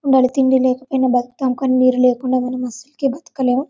మనం తిండి లేకపోయిన బతుకుతం కాని నీరు లేకుండా మేము అసలుకే బతకలేము.